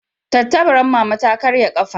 Tattabaran mama ta ƙarye kafa